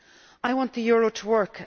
I want the euro to work.